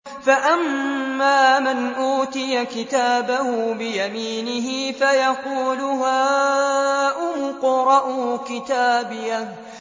فَأَمَّا مَنْ أُوتِيَ كِتَابَهُ بِيَمِينِهِ فَيَقُولُ هَاؤُمُ اقْرَءُوا كِتَابِيَهْ